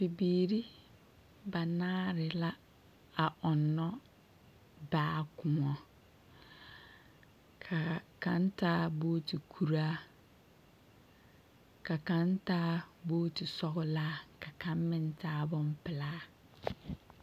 Bibiiri banaare la a ɔnnɔ baa kõɔ. Ka kaŋ taa booti kuraa, ka kaŋ taa booti sɔgelaa, ka kaŋ meŋ taa bompelaa.